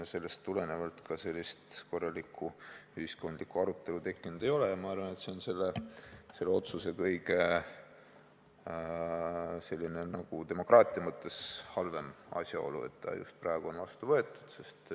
Sellest tulenevalt ei ole ka korralikku ühiskondlikku arutelu tekkinud ja ma arvan, et see on selle otsuse puhul demokraatia mõttes kõige halvem asjaolu, see, et ta just praegu on vastu võetud.